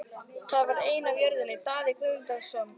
Það var ein af jörðum Daða Guðmundssonar.